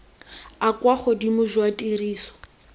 a kwa godimo jwa tiriso